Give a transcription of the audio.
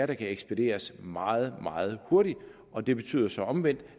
kan ekspederes meget meget hurtigt og det betyder så omvendt